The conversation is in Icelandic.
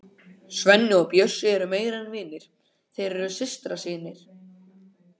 Svenni og Bjössi eru meira en vinir, þeir eru systrasynir.